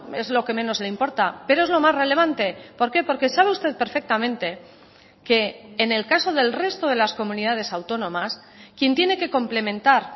es lo que menos le importa pero es lo más relevante por qué porque sabe usted perfectamente que en el caso del resto de las comunidades autónomas quien tiene que complementar